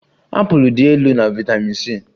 Apụl dị elu na vitamin C